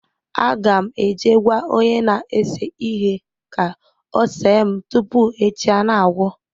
Agam eje gwa onye na ese ihe ka ose m tupu echi a na-agwu.